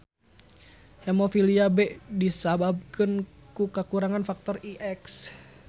Hemofilia B disababkeun ku kakurangan faktor IX.